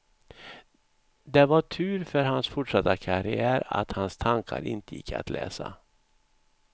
Det var tur för hans fortsatta karriär att hans tankar inte gick att läsa.